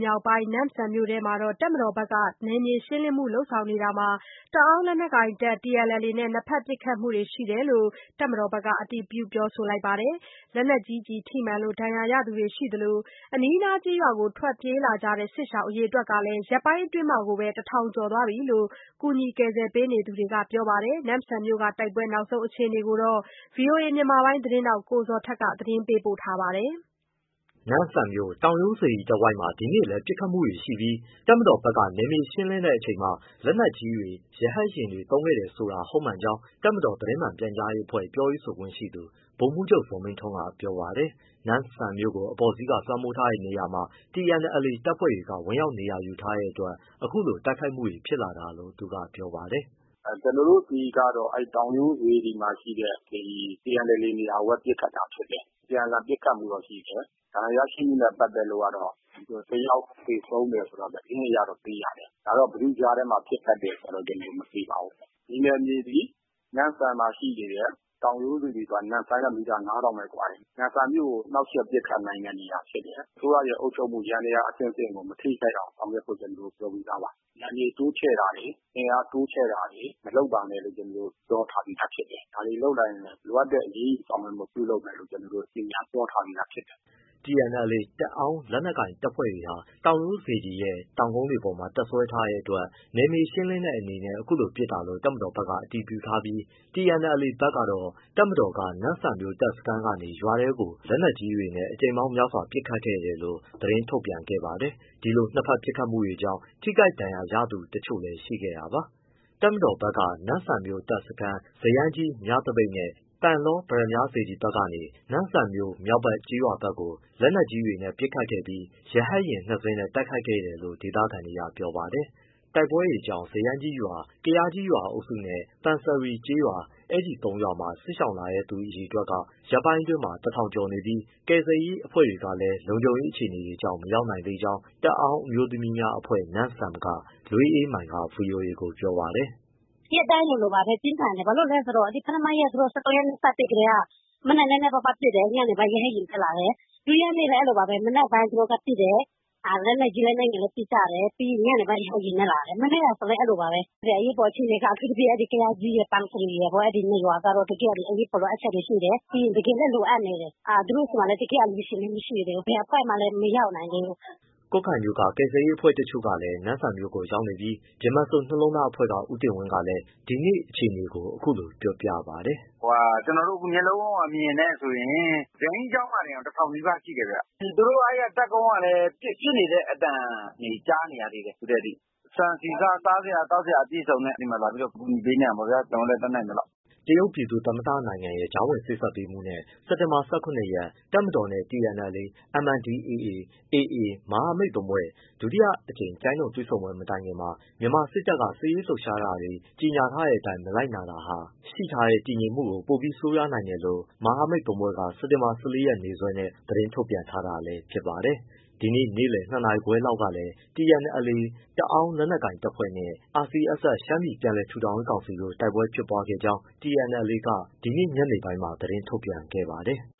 မြောက်ပိုင်း နမ့်ဆမ်မြို့နယ်အတွင်းမှာ တပ်မတော်ဘက်က နယ်မြေရှင်းလင်းမှုတွေ လုပ်ဆောင်နေတာမှာ တအောန်းလက်နက်ကိုင် TNLA နဲ့ နှစ်ဘက်ပစ်ခတ်မှုတွေ ရှိတဲ့အကြောင်း တပ်မတော်ဘက်က အတည်ပြု ပြောဆိုပါတယ်။ လက်နက်ကြီးထိမှန်လို့ ဒဏ်ရာရသူတွေ ရှိသလို အနီးနားကျေးရွာတွေကို ထွက်ပြေးလာတဲ့ စစ်ရှောင်အရေအတွက်ဟာ ရက်ပိုင်းအတွင်း ၁,၀၀၀ ကျော်သွားပြီလို့ ကူညီကယ်ဆယ်ရေး ဆောင်ရွက်နေသူတွေက ပြောပါတယ်။ နမ့်ဆန်မြို့တိုက်ပွဲ နောက်ဆုံးအခြေအနေကို ဗွီအိုအေ မြန်မာပိုင်း သတင်းထောက် ကိုဇော်ထက်က မေးမြန်း ပေးပို့ထားပါတယ်။ နမ့်ဆန်မြို့ တောင်ရိုးစေတီတဝိုက်မှာ ဒီနေ့လည်း ပစ်ခတ်မှုတွေရှိပြီး တပ်မတော်ဘက်က နယ်မြေရှင်းလင်းတဲ့အချိန်မှာ လက်နက်ကြီးတွေ ရဟတ်ယာဉ်တွေ သုံးစွဲခဲ့တယ်ဆိုတာ ဟုတ်မှန်ကြောင်း တပ်မတော် သတင်းမှန်ပြန်ကြားရေးအဖွဲ့ ပြောရေးဆိုခွင့်ရှိသူ ဗိုလ်မှူးချုပ် ဇော်မင်းထွန်းက ပြောပါတယ်။ နမ့်ဆန်မြို့ကို အပေါ်စီးက လွှမ်းမိုးထားတဲ့နေရာမှာ TNLA တပ်ဖွဲ့တွေက ဝင်ရောက်နေရာယူထားတဲ့အတွက် အခုလိုတိုက်ခိုက်မှုတွေ ဖြစ်လာတာလို့ သူကပြောပါတယ်။ “ကျနော်တို့ဆီကတော့ တောင်ရိုးစေတီမှာရှိတဲ့ TNLA နေရာကိုပဲ ပစ်ခတ်တာဖြစ်တယ်။ အပြန်အလှန် ပစ်ခတ်မှုတော့ရှိတယ်။ ဒဏ်ရာရရှိမှုနဲ့ ပတ်သက်လို့ကတော့ တယောက်သေဆုံးတယ်ဆိုတာ သတင်းအရတော့သိရတယ်။ ဒါတော့ ဘယ်သူ့ကြားထဲမှာ ဖြစ်တယ်ဆိုတာတော့ ကျနော်တို့ မသိပါဘူး။ ဒီနယ်မြေသည် နမ့်ဆန်မှာရှိနေတဲ့ တောင်ရိုးစေတီဆိုတာ နမ့်ဆန်နဲ့ မီတာ ၅,၀၀၀ လောက်ပဲကွာတယ်။ နမ့်ဆန်မြို့ကို နှောက်ယှက်ပစ်ခတ်နိုင်တဲ့နေရာဖြစ်တယ်။ အစိုးရရဲ့အုပ်ချုပ်မှုအဆင့်ဆင့်ကို မထိခိုက်အောင် ဆောင်ရွက်ဖို့ ကျနော်တို့ ပြောပြီးသားပါ။ နယ်မြေတိုးချဲ့တာတွေ အင်အားတိုးချဲ့တာတွေ မလုပ်ပါနဲ့လို့ ကျနော်တို့ ပြောထားပြီးသား ဖြစ်တယ်။ ဒါတွေလုပ်လာရင် လိုအပ်တဲ့အရေးယူဆောက်ရွက်မှု ပြုလုပ်မယ်လို့ ကျနော်တို့ ကြေညာပြောထားပြီးဖြစ်တယ်။” TNLA တအောန်း လက်နက်ကိုင်တပ်တွေဟာ တောင်ရိုးစေတီရဲ့ တောင်ကုန်းတွေပေါ်မှာ တပ်စွဲထားတဲ့အတွက် နယ်မြေရှင်းလင်းတဲ့အနေနဲ့ အခုလိုပစ်တာလို့ တပ်မတော်ဘက်က အတည်ပြုထားပြီး၊ TNLA ကတော့ တပ်မတော်က နမ့်ဆန်မြို့တပ်စခန်းကနေ ရွာထဲကို စက်တင်ဘာ လက်နက်ကြီးနဲ့ အကြိမ်များစွာ ပစ်ခတ်ခဲ့တယ်လို့ သတင်း ထုတ်ပြန်ခဲ့ပါတယ်။ ဒီလိုနှစ်ဘက် ပစ်ခတ်မှုတွေကြောင့် ထိခိုက် ဒဏ်ရာရသူတချို့လည်း ရှိခဲ့တာပါ။ တပ်မတော်ဘက်က နမ့်ဆန်မြို့တပ်စခန်း၊ ဇယန်းကြီးမြသပိတ်နဲ့ ပန်လော ပတ္တမြားစေတီကနေ နမ့်ဆန်မြို့ မြောက်ဘက်ကျေးရွာတွေကို လက်နက်ကြီးတွေနဲ့ ပစ်ခတ်ခဲ့ပြီး ရဟတ်ယာဉ်နှစ်စင်းနဲ့ တိုက်ခဲ့တယ်လို့ ဒေသခံတွေကပြောပါတယ်။ တိုက်ပွဲတွေကြောင့် ဇယန်းကြီးရွာ၊ ကယားကြီးရွာအုပ်စုနဲ့ ပန်စရီကျေးရွာ အဲဒီ သုံးရွာမှာ စစ်ရှောင်လာတဲ့သူက ရက်ပိုင်းအတွင်းအယောက် ၁,၀၀၀ ကျော်ရှိနေပြီး ကူညီကယ်ဆယ်ရေး အဖွဲ့တွေလည်း လုံခြုံရေးအခြေအနေတွေကြောင့် မရောက်သေးကြောင်း တအောန်း အမျိုးသမီးများအဖွဲ့ က လွေးအေးမိုင်က ဗွီအိုအေကိုပြောပါတယ်။ “ရက်ပိုင်းလိုလိုပါပဲ ပြင်းထန်တယ်။ ဘာဖြစ်လို့လဲဆိုတော့ ပထမနေ့ ၁၃ရက်နေ့ သူတို့စပစ်ကတည်းက မနက်နည်းနည်းပါးပါးပစ်တယ် ညနေရဟတ်ယာဉ်နဲ့ လာတယ် ဒုတိယနေ့လည်းအဲဒီလိုပါပဲ မနက်ပိုင်းသူတို့ကပစ်တယ် လက်နက်ကြီး၊ လက်နက်ငယ်နဲ့ ပစ်ကြတယ်၊ ညနေပိုင်းရဟတ်ယာဉ်နဲ့ လာတယ်။ အရေးပေါ် အခြေအနေက အဲဒီ ကယားကြီးရယ်၊ ပန်စရီရယ် အဲဒီနှစ်ရွာကတော့ တကယ့်အရေးပေါ် လိုအပ်ချက်တွေရှိတယ်။ တကယ်လည်း လိုအပ်နေတယ် သူတို့ဆီမှာ တကယ်အလှူရှင်လည်း မရှိသေးဘူး ဘယ်အဖွဲ့မှလည်း မရောက်နိုင်သေးဘူး။” ကွတ်ခိုင်မြို့က ကယ်ဆယ်ရေးအဖွဲ့တချို့လည်း နမ့်ဆန်မြို့ကိုရောက်နေပါတယ်။ ဗြဟ္မစိုရ်နှလုံးသား အဖွဲ့က ဦးတင်ဝင်းက အခုလိုပြောပါတယ်။ “ကျနော်တို့ အခုမျက်လုံးအမြင်နဲ့ဆိုရင် ဇယန်းကြီးကျောင်းမှာတင် လူ ၁,၀၀၀ နီးပါးလောက်ရှိတယ်ဗျ။ သူတို့ အဲဒီတပ်ကုန်းကလည်း ပစ်နေတဲ့အသံတွေ ကြားနေရသေးတယ် အခုထိ။ ဆန်၊ ဆီ၊ ဆား၊ စားစရာ သောက်စရာ အပြည့်အစုံနဲ့ ဒီမှာလာပြီး အကူအညီပေးနေတာပေါ့ ကျနော်တို့ တတ်နိုင်သလောက်။” တရုတ်ပြည်သူ့ သမ္မတနိုင်ငံရဲ့ ကြားဝင်စေ့စပ်ပေးမှုနဲ့ စက်တင်ဘာ ၁၇ ရက် တပ်မတော်နဲ့ TNLA, MNDAA, AA မဟာမိတ်သုံးဖွဲ့ ဒုတိယ အကြိမ် ကျိုင်းတုံတွေ့ဆုံပွဲ မတိုင်ခင်မှာ မြန်မာစစ်တပ်က စစ်ရေးလှုပ်ရှားတာတွေ ကြေညာထားတဲ့အတိုင်း မလိုက်နာတာဟာ ရှိထားတဲ့တည်ငြိမ်မှုကို ပိုပြီး ဆိုးသွားနိုင်တယ်လို့ မဟာမိတ်သုံးဖွဲ့က စက်တင်ဘာ ၁၄နေ့စွဲနဲ့ သတင်းထုတ်ပြန်ထားတာလည်း ဖြစ်ပါတယ်။ ဒီနေ့ နေ့လည် ၂ နာရီခွဲလောက်ကလည်း TNLA တအောန်း လက်နက်ကိုင်တပ်ဖွဲ့နဲ့ RCSS ရှမ်းပြည်ပြန်လည် ထူထောင်ရေးကောင်စီတို့ တိုက်ပွဲဖြစ်ပွားခဲ့ကြောင်း TNLA က ဒီကနေ့ညနေပိုင်းမှာ သတင်းထုတ်ပြန်ပါတယ်။